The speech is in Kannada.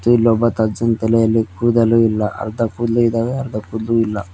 ಇಲ್ಲೊಬ್ಬ ತಜ್ಜನ್ ತಲೆಯಲ್ಲಿ ಕೂದಲು ಇಲ್ಲ ಅರ್ಧ ಕೂದ್ಲು ಇದವೆ ಅರ್ಧ ಕೂದ್ಲು ಇಲ್ಲ.